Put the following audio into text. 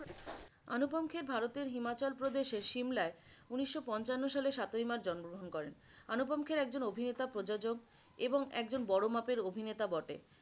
আনুপম খের ভারতের হিমাচল প্রদেশের সিমলায় উনিশো পঞ্চান্ন সালে সাতই মার্চ জন্ম গ্রহন করেন, আনুপম খের একজন অভিনেতা প্রযোজক এবং একজন বড় মাপের অভিনেতা বটে।